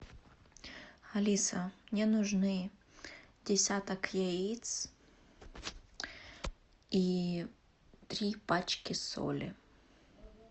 алиса мне нужны десяток яиц и три пачки соли